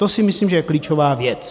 To si myslím, že je klíčová věc.